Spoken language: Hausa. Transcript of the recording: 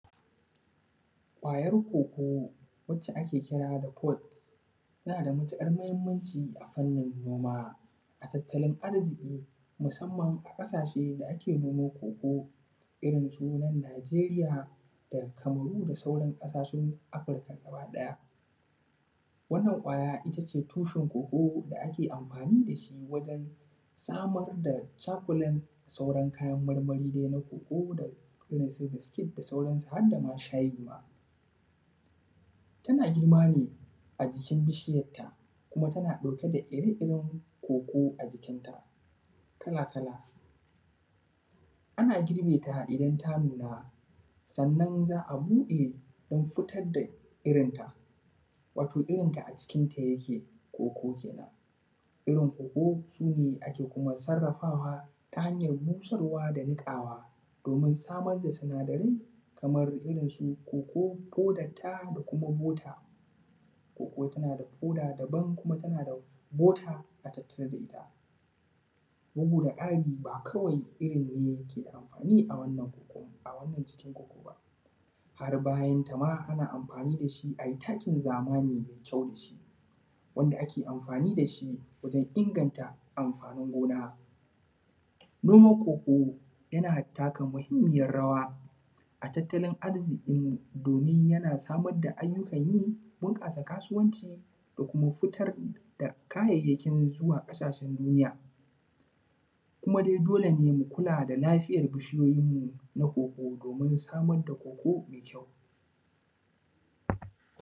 Kwayar koko wadda ake kira da ake kira da kot tana da matuƙar mahinmanci a fannin gona ta tattalin arziki musamman a wajajen da ake haƙo koko irin su nan Nageriya da Kamaru da sauran ƙasashe na Afirika gabaɗaya. Wannan kwaya ita ce tushen da ake amfani da shi wajen samar da cakulen da sauran kayan marmari, koko irin su biskit da sauransu har da ma shayi ma, yana girma ne a jikin bisiyarta kuma tana ɗauke da ire-iren koko a jikinta kala-kala. Ana girbe ta idan ta nuna sannan za a buɗe don fitar da irinta wato irinta a cikinta yake koko kenan, irin koko su ne ake sarrafawa ta hanyar busarwa da niƙawa domin samar da sinadarai kamar irin su koko ko dattta da kuma bota, koko tana da koka daban da kuma tana da ƙoda a tattare da ita. Bugu da ƙari ba wai kawai irin ne ke da amfani a wannan cikin koko ba, har bayanta ma ana amfani da shi a yi takin zamani mai kyau da shi wanda ake amfani da shi wajen inganta amfani gona. Noman koko yana taka muhinmiyar rawa a tattalin arziki domin yana samar da ayyukan yi, bunƙasa kasuwanci da kuma fitar da kayayyakin zuwan ƙasashen duniya, kuma dai dole mu kula da lafiyar bishiyoyin mu domin samar da koko da kyau.